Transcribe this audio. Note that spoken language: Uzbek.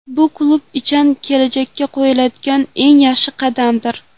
Bu klub uchun kelajakka qo‘yiladigan eng yaxshi qadamdir.